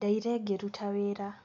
Ndaire ngĩruta wĩra